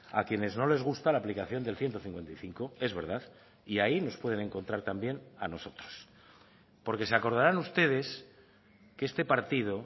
a quienes no les gusta la aplicación del ciento cincuenta y cinco es verdad y ahí nos pueden encontrar también a nosotros porque se acordarán ustedes que este partido